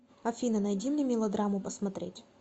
афина найди мне мелодраму посмотреть